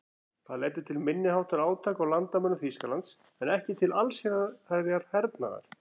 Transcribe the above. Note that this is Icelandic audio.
Það leiddi til minniháttar átaka á landamærum Þýskalands en ekki til allsherjar hernaðar.